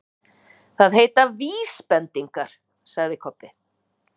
Það heita VÍSbendingar, sagði Kobbi.